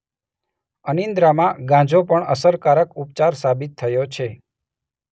અનિદ્રામાં ગાંજો પણ અસરકારક ઉપચાર સાબિત થયો છે.